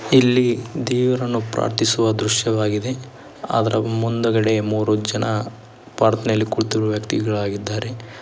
ಇಲ್ಲಿ ದೇವರನ್ನು ಪ್ರಾರ್ಥಿಸುವ ದೃಶ್ಯವಾಗಿದೆ ಅದರ ಮುಂದುಗಡೆ ಮೂರು ಜನ ಪ್ರಾರ್ಥನೆಯಲ್ಲಿ ಕುಳಿತಿರುವ ವ್ಯಕ್ತಿಯಾಗಿದ್ದಾರೆ.